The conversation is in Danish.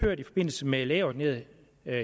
i forbindelse med lægeordineret